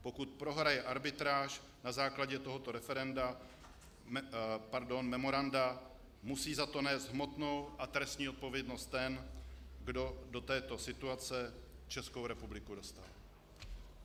Pokud prohraje arbitráž na základě tohoto memoranda, musí za to nést hmotnou a trestní odpovědnost ten, kdo do této situace Českou republiku dostal.